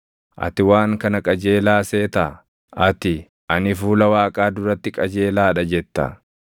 “Ati waan kana qajeelaa seetaa? Ati, ‘Ani fuula Waaqaa duratti qajeelaa dha’ jetta.